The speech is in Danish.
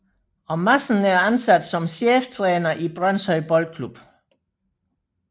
Madsen er ansat som cheftræner i Brønshøj Boldklub